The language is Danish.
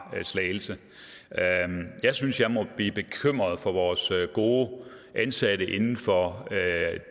slagelse jeg synes jeg må blive bekymret for vores gode ansatte inden for